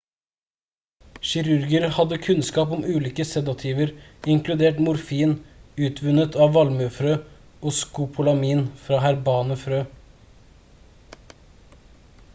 kirurger hadde kunnskap om ulike sedativer inkludert morfin utvunnet av valmuefrø og skopolamin fra herbane frø